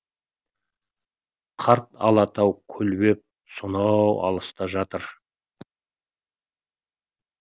қарт алатау көлбеп сонау алыста жатыр